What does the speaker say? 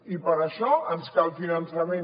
i per això ens cal finançament